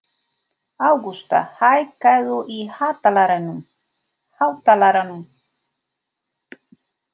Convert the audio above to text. Ágústa, hækkaðu í hátalaranum.